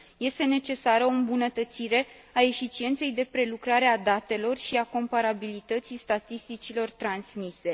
Este necesară o îmbunătățire a eficienței prelucrării datelor și a comparabilității statisticilor transmise.